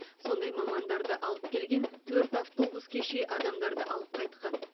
сондай мамандарды алып келген төрт автобус кеше адамдарды алып қайтқан